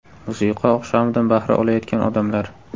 Musiqa oqshomidan bahra olayotgan odamlar.